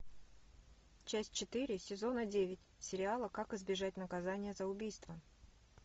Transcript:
часть четыре сезона девять сериала как избежать наказания за убийство